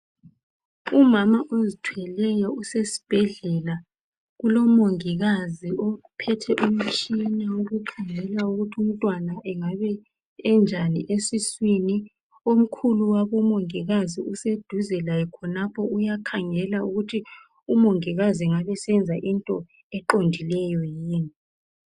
Umama ozithweleyo usesibhedlela ulomongikazi uphethe umtshina wokukhangela ukuthi umntwana engabe enjani esiswini. Omkhulu wabomongikazi useduze laye khonapho uyakhangela ukuthi umongikazi engabe senza into eqondileyo yini.